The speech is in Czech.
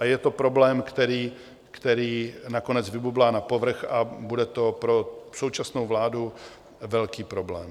A je to problém, který nakonec vybublá na povrch, a bude to pro současnou vládu velký problém.